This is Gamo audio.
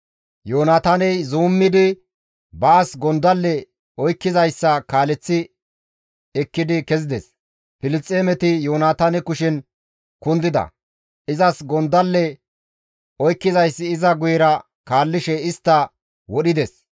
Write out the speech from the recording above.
Yoonataaney zuummidi baas gondalle oykkizayssa kaaleththi ekkidi kezides; Filisxeemeti Yoonataane kushen kundida; izas gondalle oykkizayssi iza guyera kaallishe istta wodhides.